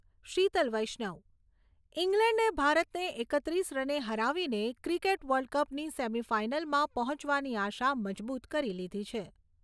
શીતલ વૈશ્નવ ઇંગ્લેન્ડે ભારતને એકત્રીસ રને હરાવીને ક્રીકેટ વર્લ્ડકપની સેમીફાઈનલમાં પહોંચવાની આશા મજબુત કરી લીધી છે.